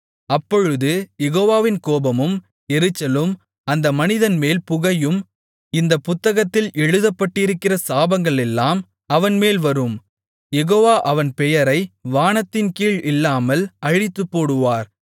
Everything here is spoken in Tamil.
அப்பொழுது யெகோவாவின் கோபமும் எரிச்சலும் அந்த மனிதன்மேல் புகையும் இந்தப் புத்தகத்தில் எழுதப்பட்டிருக்கிற சாபங்களெல்லாம் அவன்மேல் வரும் யெகோவா அவன் பெயரை வானத்தின்கீழ் இல்லாமல் அழித்துப்போடுவார்